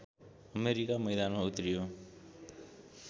America मैदानमा उत्रियो